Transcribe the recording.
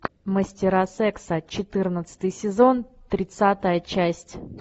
мастера секса четырнадцатый сезон тридцатая часть